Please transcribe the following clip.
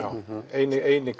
inn eini